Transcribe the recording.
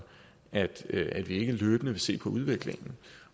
at vi ikke løbende vil se på udviklingen